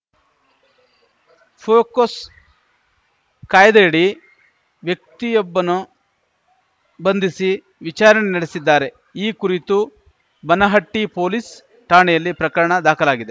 ಪೋಕೋಸ್ ಕಾಯ್ದೆಯಡಿ ವ್ಯಕ್ತಿಯೊಬ್ಬನು ಬಂಧಿಸಿ ವಿಚಾರಣೆ ನಡೆಸಿದ್ದಾರೆ ಈ ಕುರಿತು ಬನಹಟ್ಟಿಪೊಲೀಸ್‌ ಠಾಣೆಯಲ್ಲಿ ಪ್ರಕರಣ ದಾಖಲಾಗಿದೆ